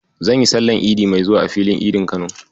Zan yi sallar Idi mai zuwa a Filin Idin Kano.